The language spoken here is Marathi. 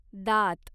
दात